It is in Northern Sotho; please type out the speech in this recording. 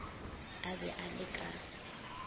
a be a le ka